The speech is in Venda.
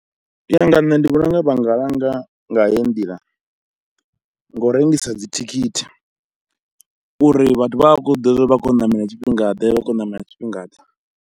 U ya nga nṋe ndi vhona unga vha nga langa nga heyi nḓila, ngo u rengisa dzithikhithi uri vhathu vha vhe vha khou zwiḓivha uri vha khou yo ṋamela tshifhingade, vha khou ṋamela tshifhingaḓe.